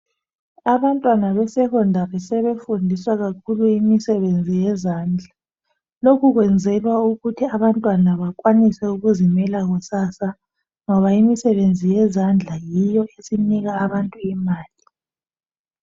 Abantwana be secondary sebefundiswa kakhulu imisebenzi yezandla. Lokhu kwenzelwa ukuthi abantwana bakwanise ukuzimela kusasa ngoba imisebenzi yezandla yiyo esinika abantu imali.